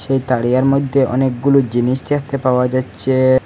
এই তারিয়ার মধ্যে অনেকগুলো জিনিস দেখতে পাওয়া যাচ্ছে।